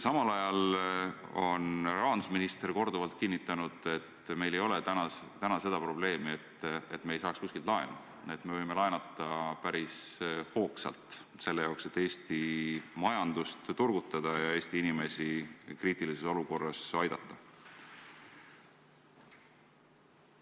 Samal ajal on rahandusminister korduvalt kinnitanud, et meil ei ole täna seda probleemi, et me ei saa kuskilt laenu, et me võime laenata päris hoogsalt, et Eesti majandust turgutada ja Eesti inimesi kriitilises olukorras aidata.